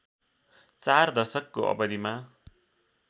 चार दशकको अवधिमा